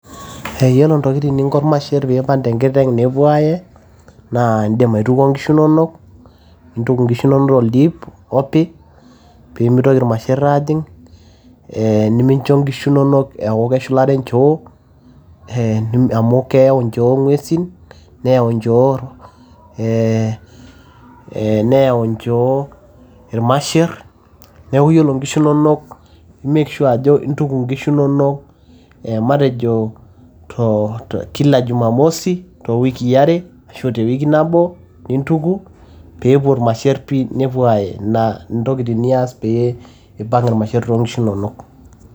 yiolo ntokitin ninko irmasherr piipang tenkiteng nepuo aae naa indim aitukuo inkishu inonok toldiip opi piimitoki irmasherr aajing ee nimincho inkishu inonok eeku keshulare inchoo amu keyau nchoo ing'uesin neyau nchoo ee neyau nchoo irmasherr neeku yiolo inkishu inonok imek sure ajo intuku inkishu inonok e matejo too kila jumamosi too wikii are ashu tewiki nabo nintuku peepuo irmasherr pii nepuo aaye, ina ntokitin niyas pee ipang irmasherr toonkishu inonok.